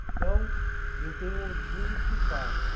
Então, eu tenho orgulho do que faço.